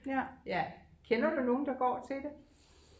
ja kender du nogen der går til det?